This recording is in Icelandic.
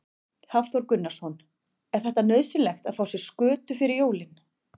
Hafþór Gunnarsson: Er þetta nauðsynlegt að fá sér skötu fyrir jólin?